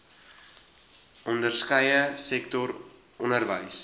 onderskeie sektor onderwys